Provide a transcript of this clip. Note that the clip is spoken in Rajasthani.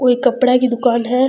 कोई कपडा की दुकान है।